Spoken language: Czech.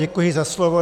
Děkuji za slovo.